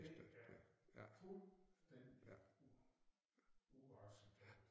Det er fuldstændig uacceptabelt